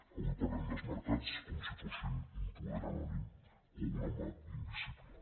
avui parlem dels mer·cats com si fossin un poder anònim o una mà invisible